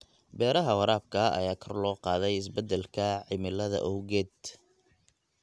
Beeraha waraabka ayaa kor loo qaaday isbeddelka cimilada awgeed.